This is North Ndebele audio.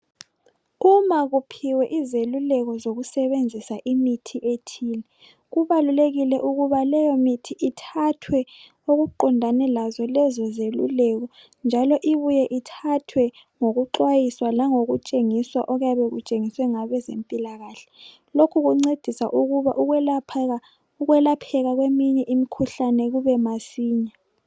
uma kuphiwe izeluleko zokusebenzisa imithi ethile kubalulekile ukuba leyo mithi ithathwe okuqondane lazo lezo zeluleko njalo ibuye ithathwe ngokuxwayiswa langokutshengiswa okuyabe kutshengiswe ngabezempilakahle lokhu kuncedisa ukuba ukwelapheka kweminye mikhuhlane kube masinya